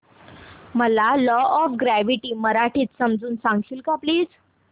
मला law of gravity मराठीत समजून सांगशील का प्लीज